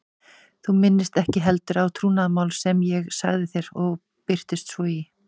Þú minnist ekki heldur á trúnaðarmál sem ég sagði þér og birtist svo í